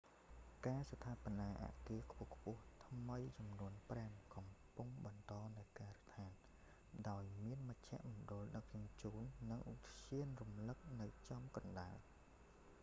ការស្ថាបនាអគារខ្ពស់ៗថ្មីចំនួនប្រាំកំពុងបន្តនៅការដ្ឋាន ដោយមានមជ្ឈមណ្ឌលដឹកជញ្ជូន និងឧទ្យានរំលឹកនៅចំកណ្តាល